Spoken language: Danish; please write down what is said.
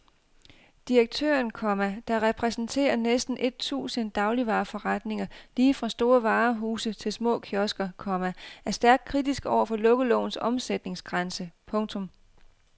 Direktøren, komma der repræsenterer næsten et tusind dagligvareforretninger lige fra store varehuse til små kiosker, komma er stærkt kritisk over for lukkelovens omsætningsgrænse. punktum